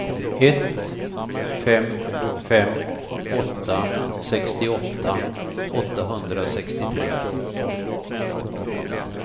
ett fem fem åtta sextioåtta åttahundrasextiotre